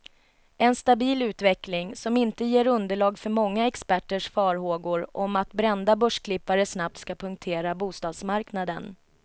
En stabil utveckling, som inte ger underlag för många experters farhågor om att brända börsklippare snabbt ska punktera bostadsmarknaden.